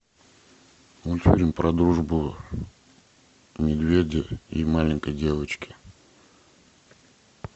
мультфильм про дружбу медведя и маленькой девочки